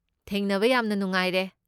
ꯊꯦꯡꯅꯕ ꯌꯥꯝꯅ ꯅꯨꯡꯉꯥꯏꯔꯦ꯫